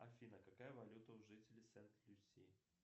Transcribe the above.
афина какая валюта у жителей сент люси